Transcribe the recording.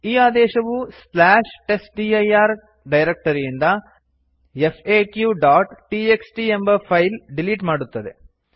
ಈ ಆದೇಶವು testdir ಡೈರಕ್ಟರಿಯಿಂದ faqಟಿಎಕ್ಸ್ಟಿ ಎಂಬ ಫೈಲ್ ಡಿಲಿಟ್ ಮಾಡುತ್ತದೆ